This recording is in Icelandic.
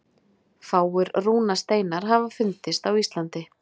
Fáir rúnasteinar hafa fundist á Íslandi.